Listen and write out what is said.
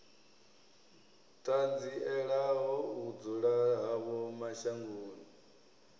ṱanzielaho u dzula havho mashangoni